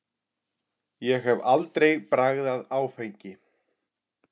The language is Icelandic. Ég hef aldrei bragðað áfengi.